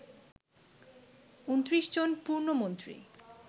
২৯ জন পূর্ণমন্ত্রী